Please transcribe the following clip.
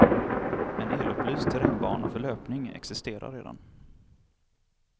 En elupplyst terrängbana för löpning existerar redan.